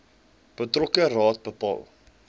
betrokke raad bepaal